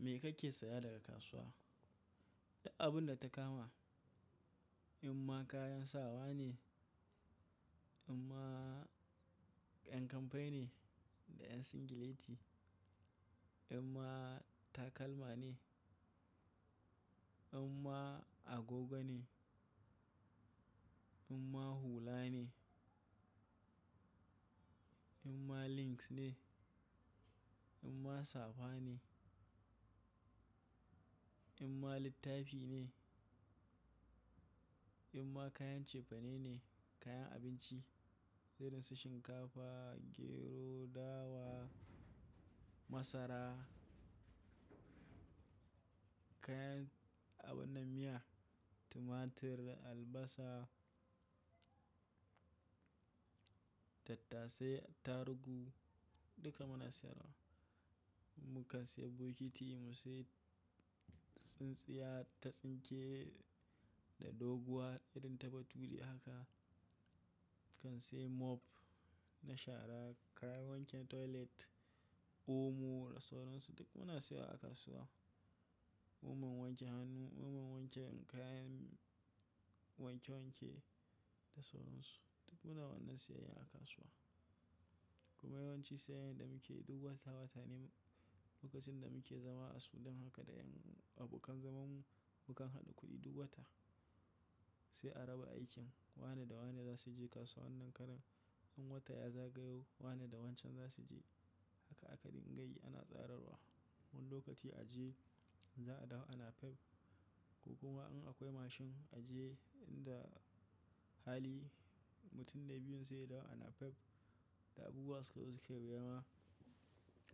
Me kake saya daga kasuwa? Duk abun da ta kama. In ma kayan sawa ne, in ma yan kamfai ne da yan singileti, in ma takalma ne, in ma agogo ne, in ma hula ne, in ma links ne, in ma safa ne, in ma littafi ne, in ma kayan cefane ne, kayan abinci, irin su shinkafa, gero, dawa, masara, kayan abin na miya, tumatir da albasa da tasai, tarugu duka muna siyarwa. Mu kan sayi bokiti, musu tsintsiya, tatsinke da doguwa irin ta bature haka. Mu kan sayi mop na shara, kayan wanke toilet, omo da sauran su duk muna siya a kasuwa. Omon wanke hannu, omon wanke kayan wanke wanke da sauran su duk muna wannan siyayyar a kasuwa. Kuma yawanci siyayyar da muke yi duk wata-wata ne lokacin da muke zama a Sudan haka da yan abokan zamanmu mu kan haɗu kuɗi duk wata sai a raba aikin wane da wane za su je kasuwa wannan karan. In wata ya zagayo wane da wancan za su je haka aka dinga yi ana tsararwa. Wani lokaci a je za a dawo a napep ko kuwa in akwai mashin a je inda hali mutum dai biyun sai da wa an napep da abubuwa suka zo suke wuya ma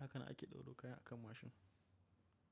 a kana ake ɗaura kaya a kan mashin.